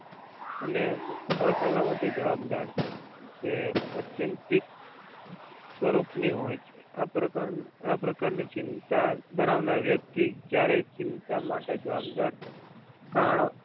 અને અસલામતી જવાબદાર છે જે અત્યંતીક સ્વરૂપની હોય છે. આ પ્રકારની ચિંતા ધરાવનાર વ્યક્તિ ક્યારે ચિંતા માટે જવાબદાર કારણો